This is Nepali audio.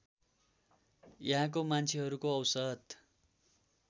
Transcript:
यहाँको मान्छेहरूको औसत